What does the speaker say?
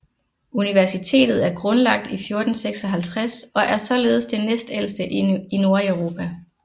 Universitetet er grundlagt i 1456 og er således det næstældste i Nordeuropa